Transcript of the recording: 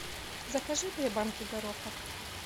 закажи две банки гороха